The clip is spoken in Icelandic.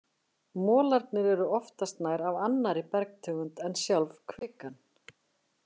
Molarnir eru oftast nær af annarri bergtegund en sjálf kvikan.